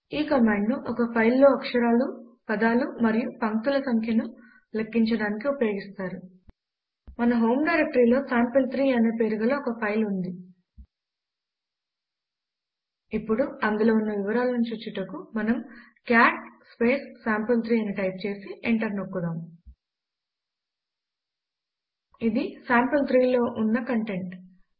ఈ కమాండ్ను ఒక ఫైల్ లో అక్షరాలు పదాలు మరియు పంక్తుల సంఖ్య ను లెక్కించడానికి ఉపయోగిస్తారు మన హోమ్ డైరెక్టరీలో సాంపిల్3 అనే పేరు గల ఒక ఫైలు ఉంది ఇప్పుడు అందులో ఉన్న వివరాలను చూచుటకు మనము కాట్ సాంపిల్3 అని టైప్ చేసి ఎంటర్ నోక్కుదాం ఇది సాంపిల్3 లో ఉన్న కంటెంట్